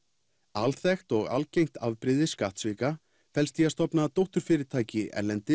alþekkt og algengt afbrigði skattsvika felst í að stofna dótturfyrirtæki erlendis